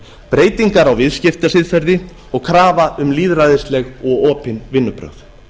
breytingar á viðskiptasiðferði og krafa um lýðræðisleg og opin vinnubrögð